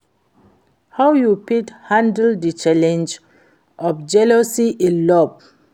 how you fit handle di challenge of jealousy in love?